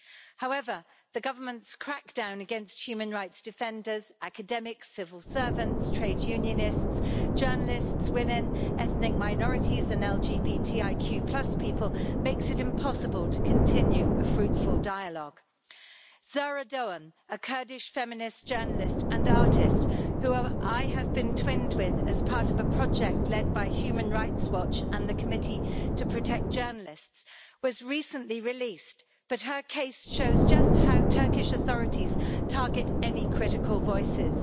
However, the government's crackdown against human rights defenders, academics, civil servants, trade unionists, journalists, women, ethnic minorities and LGBTIQ people makes it impossible to continue a fruitful dialogue. Zehra Doğan, a Kurdish, feminist journalist and artist who I have been twinned with as part of a project led by Human Rights Watch and the Committee to Protect Journalists, was recently released but her case shows just how Turkish authorities target any critical voices.